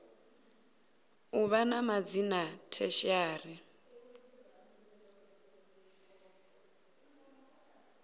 u vha na madzina tertiary